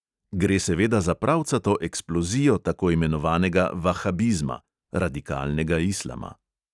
Gre seveda za pravcato eksplozijo tako imenovanega vahabizma (radikalnega islama).